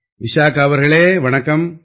விஷாகா அவர்களே வணக்கம்